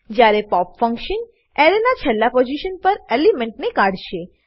જયારે pop function એરેના છેલ્લા પોઝીશન પર એલિમેન્ટને કાઢશે